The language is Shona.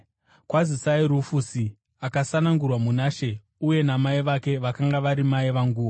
Kwazisai Rufusi, akasanangurwa muna She uye namai vake, vakanga vari mai vanguwo.